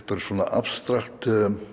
abstrakt